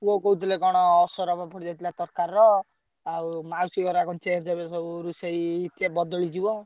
ପୁଅ କହୁଥିଲେ କଣ ଅସରପା ପଡ଼ିଯାଇଥିଲା ତରକାରୀର। ଆଉ ମାଉସୀ ହରିକା କଣ change ହେବେ ସବୁ ରୋଷେଇ ସିଏ ବଦଳିଯିବ।